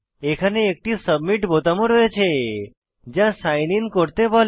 এখানে একটি সাবমিট বোতাম ও রয়েছে যা সাইন আইএন করতে বলে